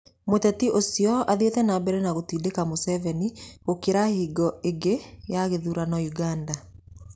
Mũteti ũcio athiĩte na mbere na gũtindĩka Museveni gũkĩra hingo ĩngĩ ya gĩthurano Uganda